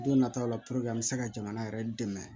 Don nataw la puruke an bɛ se ka jamana yɛrɛ dɛmɛ